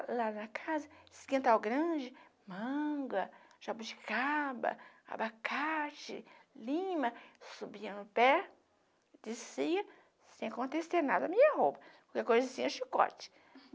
Lá na casa, esse quintal grande, manga, jabuticaba, abacate, lima, subia no pé, descia, sem acontecer nada, minha roupa, qualquer coisinha, chicote.